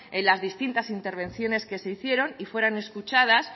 en las distintas intervenciones que se hicieron y fueron escuchadas